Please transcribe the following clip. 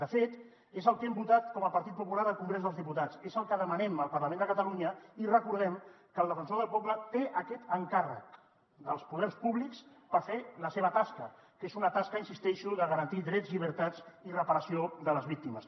de fet és el que hem votat com a partit popular al congrés dels diputats és el que demanem al parlament de catalunya i recordem que el defensor del poble té aquest encàrrec dels poders públics per fer la seva tasca que és una tasca hi insisteixo de garantir drets llibertats i reparació de les víctimes